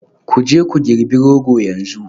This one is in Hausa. Ku je ku girbi Rogo yanzu